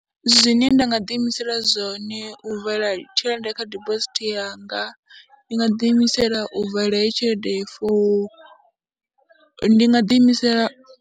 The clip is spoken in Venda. Zwine nda nga ḓiimisela zwone u vala tshelede kha dibosithi yanga, ndi nga ḓiimisela u vala heyi tshelede for ndi nga ḓiimisela.